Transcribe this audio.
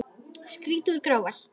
Skíði úr gráhval